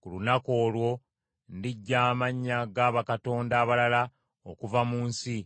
“Ku lunaku olwo, ndiggya amannya ga bakatonda abalala okuva mu nsi,